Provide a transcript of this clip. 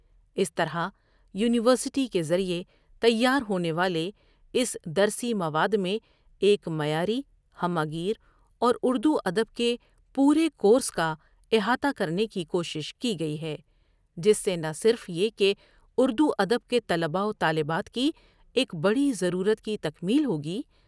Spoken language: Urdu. اس طری یونیور سٹی کے ذریعہ تیار ہونے والےاس درسی مواد میں ایک معیاری، ہمہ گیر اوراردو ادب کے پورے کورس کا احاطہ کرنے کی کوشش کی گٮٔی ہے جس سے نہ صرف یہ کہ اردوادب کے طلبہ و طالبات کی ایک بڑی ضرورت کی تکمیل ہوگی ۔